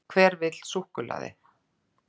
Hver vill súkkulaði?